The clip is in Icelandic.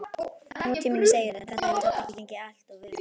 Nútíminn, segirðu, en þetta hefur samt ekki gengið alltof vel?